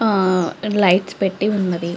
ఆ లైట్స్ పెట్టి ఉన్నది.